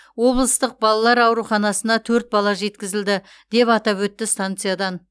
облыстық балалар ауруханасына төрт бала жеткізілді деп атап өтті станциядан